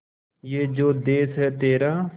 ये जो देस है तेरा